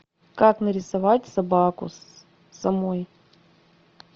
как нарисовать собаку самой